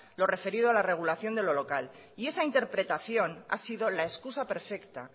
lo referido a la regulación de lo local y esa interpretación ha sido la excusa perfecta